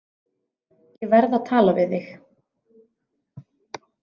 Ég verð að tala við þig.